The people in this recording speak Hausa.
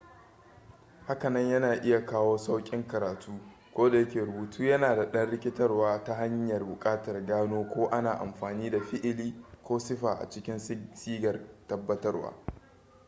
hakanan yana iya kawo sauƙin karatu kodayake rubutu yana da ɗan rikitarwa ta hanyar buƙatar gano ko ana amfani da fi'ili ko sifa a cikin sigar tabbatarwa